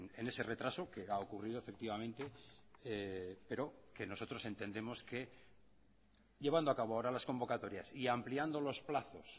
en ese retraso que ha ocurrido efectivamente pero que nosotros entendemos que llevando a cabo ahora las convocatorias y ampliando los plazos